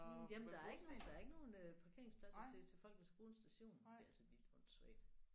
Jamen der er ikke nogen der er ikke nogen øh parkeringspladser til til folk der skal bruge en station. Det er altså vildt åndsvagt